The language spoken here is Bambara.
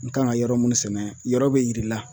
N kan ga yɔrɔ munnu sɛnɛ yɔrɔ be yir'i la